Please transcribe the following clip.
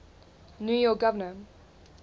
new york governor